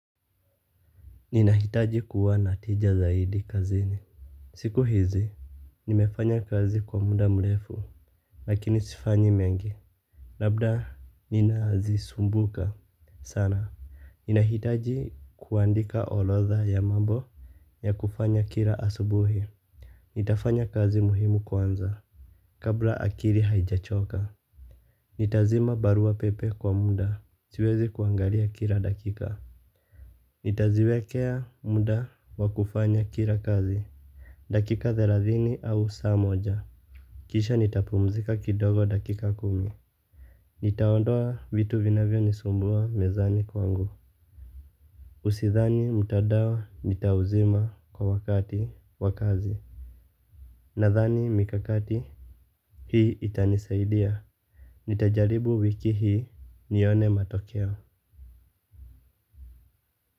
Ninahitaji kuwa na tija zaidi kazini. Siku hizi nimefanya kazi kwa muda mrefu. Lakini sifanyi mengi labda ninazisumbuka sana. Ninahitaji kuandika orodha ya mambo ya kufanya kila asubuhi. Nitafanya kazi muhimu kwanza. Kabla akili haijachoka nitazima barua pepe kwa muda. Siwezi kuangalia kila dakika. Nitaziwekea muda wa kufanya kila kazi. Dakika thelathini au saa moja. Kisha nitapumzika kidogo dakika kumi. Nitaondoa vitu vinavyonisumbua mezani kwangu Usidhani mtandao nitauzima kwa wakati wa kazi. Nadhani mikakati hii itanisaidia. Nitajaribu wiki hii nione matokeo.